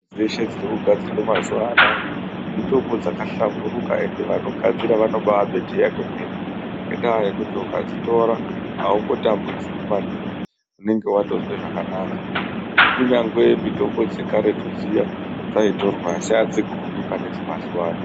...dzeshe dzirikugadzirwe mazuva anaya mitombo dzakahlamburuka endi vanogadzira vanobaabeteya kwemene. Ngendaa yekuti ukadzitora haumbotambudziki maningi, unenge watozwe zvakanaka. Kunyange mitombo dzekaretu dzaitorwa asi hadzigumi pane dzemazuva anaya.